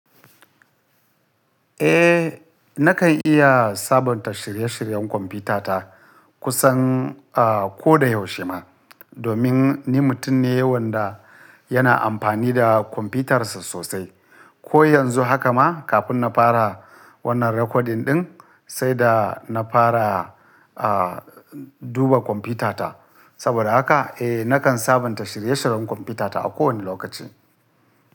Eh, nakan iya sabunta shirye-shiryen kwamfutata kusan, aah, ko da yaushe ma, domin ni mutum ne wanda yana amfani da kwamfutarsa sosai. Ko yanzu haka ma kafin na fara wannan recording ɗin, sai da na fara, aah, duba kwamfutata. Saboda haka eh, nakan sabunta shirye-shiryen kwamfutata a kowane lokaci.